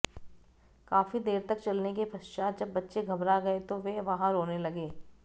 काफी देर तक चलने के पश्चात जब बच्चे घबरा गए तो वे वहां रोने लगे